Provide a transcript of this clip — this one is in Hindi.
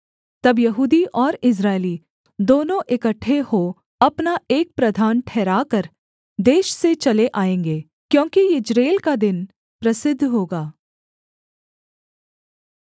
तब यहूदी और इस्राएली दोनों इकट्ठे हो अपना एक प्रधान ठहराकर देश से चले आएँगे क्योंकि यिज्रेल का दिन प्रसिद्ध होगा